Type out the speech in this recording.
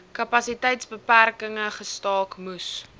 kapasiteitsbeperkinge gestaak moes